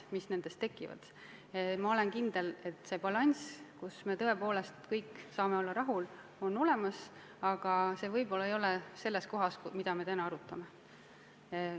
Ma olen kindel, et balanss, mille korral me tõepoolest saame kõik olla rahul, on võimalik, aga see võib-olla ei ole selline, mida me täna arutame.